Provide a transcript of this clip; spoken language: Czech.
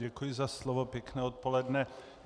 Děkuji za slovo, pěkné odpoledne.